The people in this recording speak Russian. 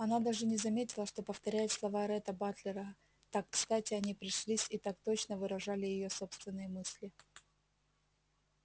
она даже не заметила что повторяет слова ретта батлера так кстати они пришлись и так точно выражали её собственные мысли